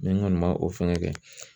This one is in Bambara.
Mɛ n kɔni ma o fɛngɛ kɛ